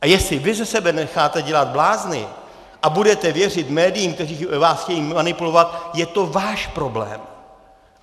A jestli vy ze sebe necháte dělat blázny a budete věřit médiím, která vás chtějí manipulovat, je to váš problém!